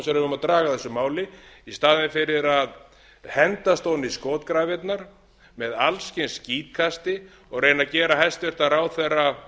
eigum að draga af þessu máli i staðinn fyrir að hendast ofan í skotgrafirnar með alls kyns skítkasti og reyna að gera hæstvirtur ráðherra